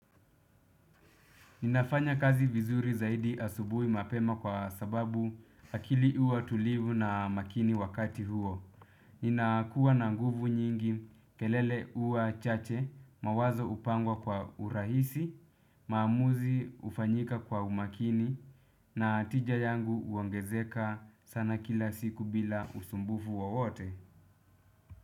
Ninafanya kazi vizuri zaidi asubuhi mapema, kwa sababu, akili huwa tulivu na makini wakati huo. Nina kuwa na nguvu nyingi, kelele huwa chache mawazo upangwa kwa urahisi, maamuzi ufanyika kwa umakini, na tija yangu uongezeka sana kila siku, bila usumbufu wa wote.